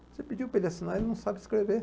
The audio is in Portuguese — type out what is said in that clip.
Você pediu para ele assinar, ele não sabe escrever.